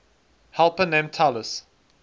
helper named talus